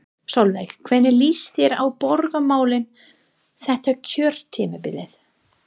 Sólveig: Hvernig líst þér á borgarmálin þetta kjörtímabilið?